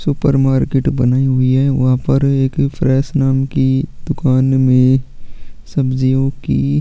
super market बनी हुई है वहाँ पर एक फ्रेश नाम की दुकान में सब्जियों की--